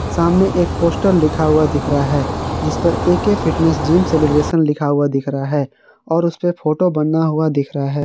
सामने एक पोस्टर लिखा हुआ दिख रहा है जिस पर ए_के फिटनेस जिम सेलिब्रेशन लिखा हुआ दिख रहा है और उसपे फोटो बना हुआ दिख रहा है।